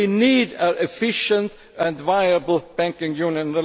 we need an efficient and viable banking union.